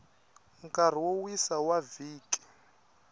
nkarhi wo wisa wa vhiki